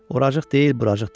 Uradıq deyil, buradıq deyil.